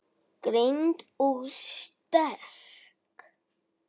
Greind og sterk.